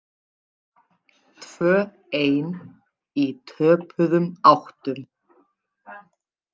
Tvö ein í töpuðum áttum.